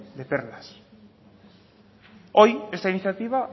de perlas hoy esta iniciativa